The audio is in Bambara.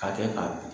Ka kɛ k'a dun